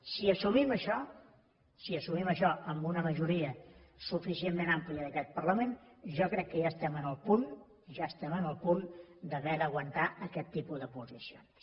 si assumim això si assumim això amb una majoria suficientment àmplia d’aquest parlament jo crec que ja estem en el punt ja estem en el punt d’haver d’aguantar aquest tipus de posicions